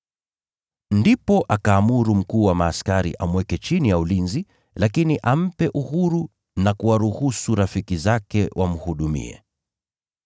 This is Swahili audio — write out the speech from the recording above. Ndipo akaamuru kiongozi wa askari amweke chini ya ulinzi lakini ampe uhuru na kuwaruhusu rafiki zake wamhudumie.